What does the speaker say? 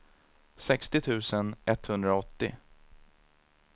sextio tusen etthundraåttio